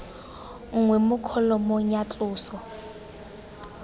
nngwe mo kholomong ya tloso